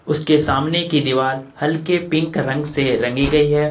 उसके सामने की दीवार हल्के पिंक रंग से रंगी गई है।